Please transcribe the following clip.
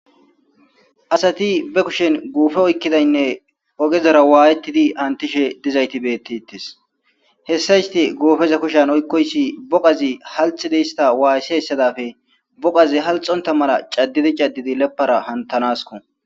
asati be kushen guufe oykkidaynne oqezora waayettidi antishe dizayti beettitis hessa isti goofeza kushan oykkoyssi boqazi halxidi hista waassi hessadafe boqazi halxonta mala caddidi cadidi lepara hantanasko